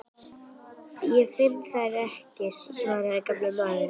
Ég finn þær ekki sagði gamli maðurinn.